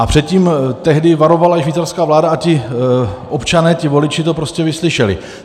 A před tím tehdy varovala švýcarská vláda a ti občané, ti voliči, to prostě vyslyšeli.